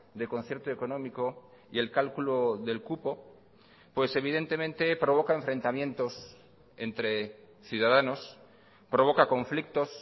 de concierto económico y el cálculo del cupo pues evidentemente provoca enfrentamientos entre ciudadanos provoca conflictos